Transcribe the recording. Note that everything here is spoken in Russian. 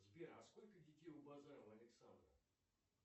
сбер а сколько детей у базарова александра